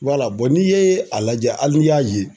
n'i ye a lajɛ hali ni y'a ye